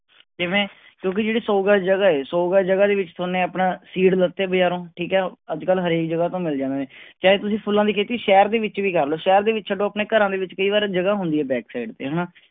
ਕਿਵੇਂ, ਕਿਉਂਕਿ ਜਿਹੜੀ ਸੌ ਗਜ਼ ਜਗ੍ਹਾ ਹੈ ਸੌ ਗਜ਼ ਜਗ੍ਹਾ ਦੇ ਵਿੱਚ ਤੁਹਾਨੇ ਆਪਣਾ seed ਲਿੱਤੇ ਬਜ਼ਾਰੋਂ ਠੀਕ ਹੈ, ਅੱਜ ਕੱਲ੍ਹ ਹਰੇਕ ਜਗ੍ਹਾ ਤੋਂ ਮਿਲ ਜਾਂਦੇ ਨੇ ਚਾਹੇ ਤੁਸੀਂ ਫੁੱਲਾਂ ਦੀ ਖੇਤੀ ਸ਼ਹਿਰ ਦੇ ਵਿੱਚ ਵੀ ਕਰ ਲਓ ਸ਼ਹਿਰ ਦੇ ਵਿੱਚ ਛੱਡੋ, ਆਪਣੇ ਘਰਾਂ ਦੇ ਵਿੱਚ ਕਈ ਵਾਰ ਜਗ੍ਹਾ ਹੁੰਦੀ ਹੈ back side ਤੇ ਹਨਾ,